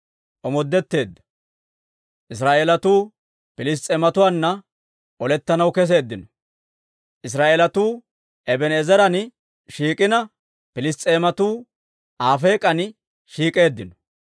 Israa'eelatuu Piliss's'eematuwaanna olettanaw keseeddino; Israa'eelatuu Eben"eezeren shiik'ina, Piliss's'eematuu Afeek'an shiik'k'eeddino.